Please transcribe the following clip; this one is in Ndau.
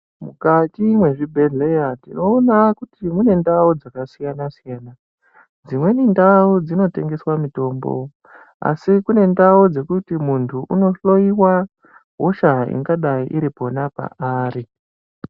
Mukati mwezvibhedhleya, tinoona kuti mune ndau dzakasiyana-siyana, dzimweni ndau dzinotengeswe mitombo, asi kune ndau dzekuti muntu unohloyiwa hosha ingadayi iri pona paari.